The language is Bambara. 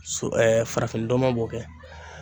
So farafinnɔn b'o kɛ.